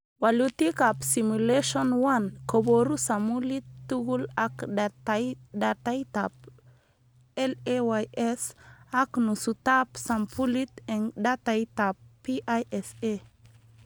Walutikab Simulation 1 koboru samulit tugul ak dataitab LAYS ak nusutab sampulit eng dataitab PISA